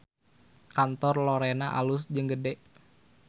Kantor Lorena alus jeung gede